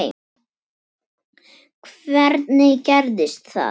Hvernig gerðist það?